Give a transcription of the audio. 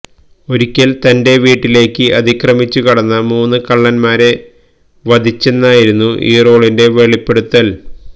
ഒരിക്കല് തന്റെ വീട്ടിലേക്ക് അതിക്രമിച്ചു കടന്ന മൂന്ന് കള്ളന്മാരെ വധിച്ചെന്നായിരുന്നു ഇറോളിന്റെ വെളിപ്പെടുത്തല്